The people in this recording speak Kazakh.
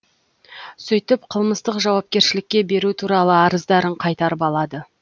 сөйтіп қылмыстық жауапкершілікке беру туралы арыздарын қайтарып алады